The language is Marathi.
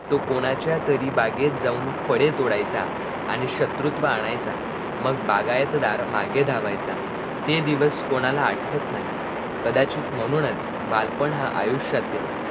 तो कोणाच्या तरी बागेत जाऊन फळे तोड़ायाचा आणी शत्रुत्व आणायचा, मग बागाचा चौकीदार माघे धावायचा ते दिवस कोणाला आठवत नाही कदाचित म्हणूनच बालपण हा आयुष्यातील